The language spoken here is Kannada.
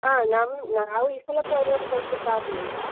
ಹ ನಮ್ ನಾವೀಸಲ program ಕೊಡ್ಲಿಕ್ಕೆ ಆಗ್ಲಿಲ್ಲ.